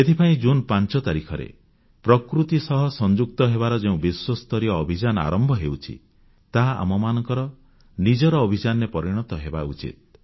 ଏଥିପାଇଁ ଜୁନ୍ 5 ତାରିଖରେ ପ୍ରକୃତି ସହ ସଂଯୁକ୍ତ ହେବାର ଯେଉଁ ବିଶ୍ୱସ୍ତରୀୟ ଅଭିଯାନ ଆରମ୍ଭ ହେଉଛି ତାହା ଆମମାନଙ୍କର ନିଜର ଅଭିଯାନରେ ପରିଣତ ହେବା ଉଚିତ